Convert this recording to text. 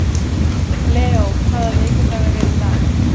Leo, hvaða vikudagur er í dag?